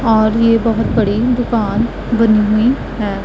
और ये बहोत बड़ी दुकान बनी हुई है।